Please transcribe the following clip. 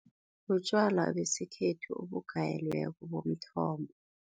Butjwala besikhethu, obugayelweko bomthombo.